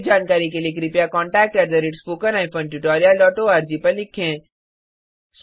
अधिक जानकारी के लिए contact spoken hyphen tutorial dot ORG पर लिखें